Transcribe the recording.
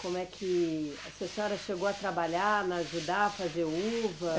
Como é que, se a senhora chegou a trabalhar, a ajudar a fazer uva?